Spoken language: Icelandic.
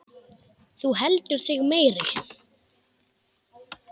Þú heldur þig meiri.